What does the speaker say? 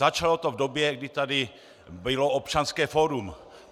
Začalo to v době, kdy tady bylo Občanské fórum.